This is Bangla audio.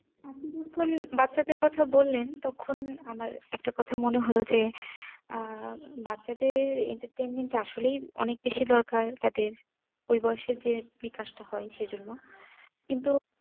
আপনি যখন বাচ্ছাদের কথা বললেন তখন আমার একটা কথা মনে হলো যে আহ বাচ্ছাদের ই জন্য কিন্তু